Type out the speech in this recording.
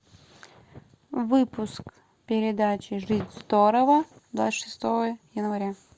выпуск передачи жить здорово двадцать шестого января